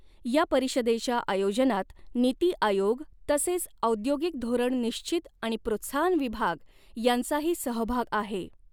या परिषदेच्या आयोजनात नीती आयोग तसेच औद्योगिक धोरण निश्चित आणि प्रोत्साहन विभाग यांचाही सहभाग आहे.